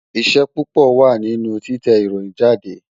Iṣẹ́ púpọ̀ wà nínú títẹ ìròyìn jáde